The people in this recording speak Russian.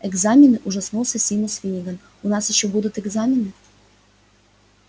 экзамены ужаснулся симус финниган у нас ещё будут экзамены